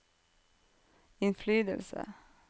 innflytelse